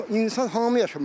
Yox insan hamı yaşamalıdır.